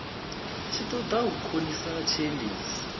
tshi ṱoḓa u khonisa tshiendisi